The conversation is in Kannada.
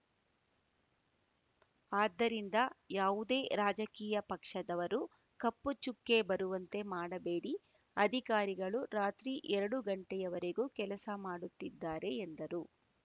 ಆದ್ದರಿಂದ ಯಾವುದೇ ರಾಜಕೀಯ ಪಕ್ಷದವರು ಕಪ್ಪು ಚುಕ್ಕೆ ಬರುವಂತೆ ಮಾಡಬೇಡಿ ಅಧಿಕಾರಿಗಳು ರಾತ್ರಿ ಎರಡು ಗಂಟೆಯವರೆಗೂ ಕೆಲಸ ಮಾಡುತ್ತಿದ್ದಾರೆ ಎಂದರು